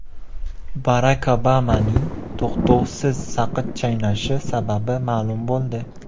Barak Obamaning to‘xtovsiz saqich chaynashi sababi ma’lum bo‘ldi.